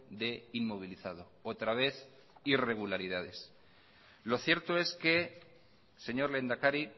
de inmovilizado otra vez irregularidades lo cierto es que señor lehendakari